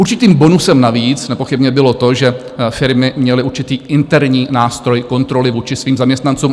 Určitým bonusem navíc nepochybně bylo to, že firmy měly určitý interní nástroj kontroly vůči svým zaměstnancům.